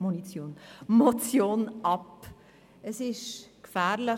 Diese ist aus drei Gründen gefährlich.